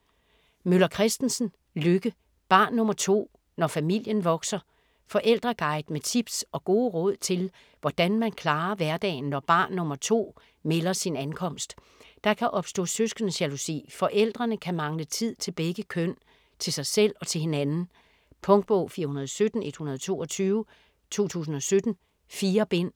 Møller Kristensen, Lykke: Barn nr. 2: når familien vokser Forældreguide med tips og gode råd til hvordan man klarer hverdagen når barn nr. 2 melder sin ankomst. Der kan opstå søskendejalousi, forældrene kan mangle tid til begge børn, til sig selv og til hinanden. Punktbog 417122 2017. 4 bind.